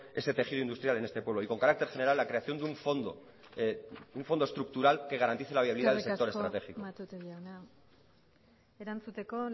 ese tejido industrial en este pueblo y con carácter general la creación de un fondo estructural que garantice la viabilidad del sector estratégico eskerrik asko matute jauna erantzuteko